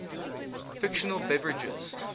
fictional beverages